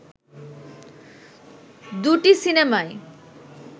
দুটি সিনেমাই